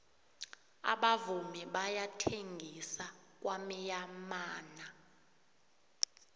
abavumi bayathengisa kwamyamana